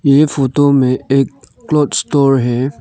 ये फोटो में एक क्लॉथ स्टोर है।